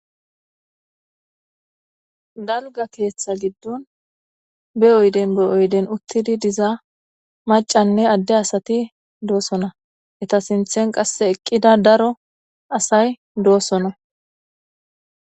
Dalga ketha gidon be oyden be oyden utidi diza mac'anne ade asati dosona eta sintan qase eqida daro asay dosona.